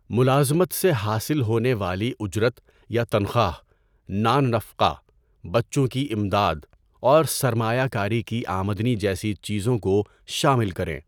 ملازمت سے حاصل ہونے والی اجرت یا تنخواہ، نان نفقہ، بچوں کی امداد، اور سرمایہ کاری کی آمدنی جیسی چیزوں کو شامل کریں۔